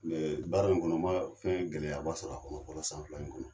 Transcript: Baara in kɔnɔ ma fɛn gɛlɛyaba sɔrɔ a kɔnɔ fɔlɔ san fila in kɔnɔ.